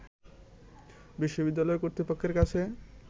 বিশ্ববিদালয় কর্তৃপক্ষের কাছে